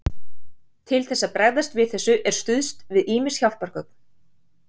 Til þess að bregðast við þessu er stuðst við ýmis hjálpargögn.